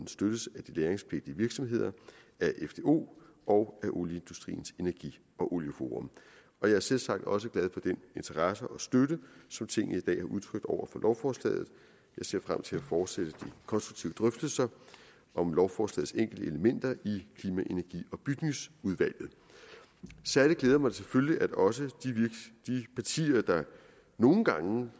støttes af de lagringspligtige virksomheder af fdo og af olieindustriens energi og olieforum jeg er selvsagt også glad for den interesse og støtte som tinget i dag har udtrykt over for lovforslaget jeg ser frem til at fortsætte de konstruktive drøftelser om lovforslagets enkelte elementer i klima energi og bygningsudvalget særlig glæder det mig selvfølgelig at også de partier der nogle gange